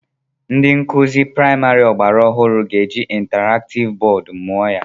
Ndị nkụzi praimari ọgbara ọhụrụ ga-eji intaraktiv bọọdụ mụọ ya.